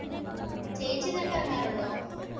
ചേച്ചി ഇതിനൊക്കെ ഇറങ്ങാറുണ്ടോ